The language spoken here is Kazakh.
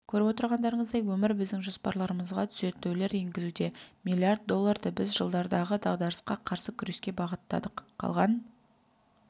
көріп отырғандарыңыздай өмір біздің жоспарларымызға түзетулер енгізуде миллиард долларды біз жылдардағы дағдарысқа қарсы күреске бағыттадық қалған